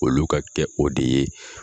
Olu ka kɛ o de ye.